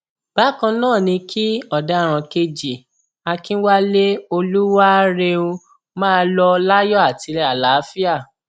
bákan náà ni kí ọdaràn kejì akinwalé olúwaarẹún máa lọ láyọ àti àlàáfíà